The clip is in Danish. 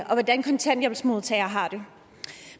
hvordan kontanthjælpsmodtagere har det